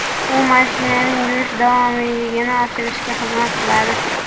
U mashinaning yurish davomiyligini oshirishga xizmat qiladi.